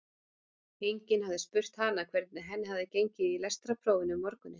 Enginn hafði spurt hana hvernig henni hefði gengið í lestrarprófinu um morguninn.